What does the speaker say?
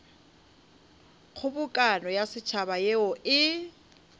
kgobokano ya setšhaba yeo e